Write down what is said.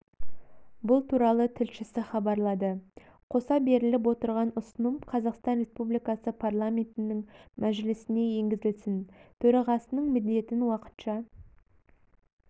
бұл туралы тілшісі хабарлады қоса беріліп отырған ұсыным қазақстан республикасы парламентінің мәжілісіне енгізілсін төрағасының міндетін уақытша